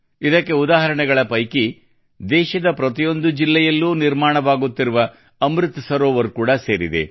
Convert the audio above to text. ಇದಕ್ಕೆ ಒಂದು ಉದಾಹರಣೆಗಳ ಪೈಕಿ ದೇಶದ ಪ್ರತಿಯೊಂದು ಜಿಲ್ಲೆಯಲ್ಲೂ ನಿರ್ಮಾಣವಾಗುತ್ತಿರುವ ಅಮೃತ ಸರೋವರ ಕೂಡಾ ಸೇರಿದೆ